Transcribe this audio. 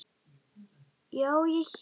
Já, ég hélt.